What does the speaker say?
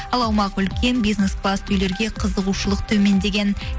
ал аумағы үлкен бизнес класс үйлерге қызығушылық төмендеген